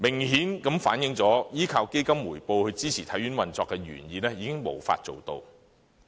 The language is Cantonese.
顯而易見，依靠基金回報來支持體院運作的原意已經無法達成。